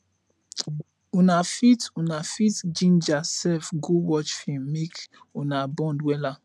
una fit una fit ginger sef go watch film mek una bond wella